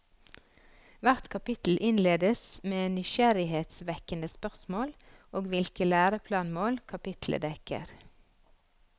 Hvert kapittel innledes med nysgjerrighetsvekkende spørsmål og hvilke læreplanmål kapitlet dekker.